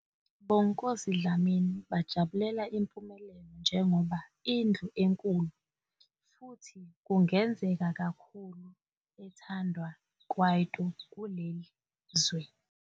Bonginkosi Dlamini bajabulela impumelelo njengoba indlu enkulu, futhi kungenzeka kakhulu ethandwa kwaito kuleli zwe.